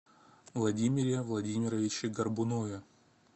владимире владимировиче горбунове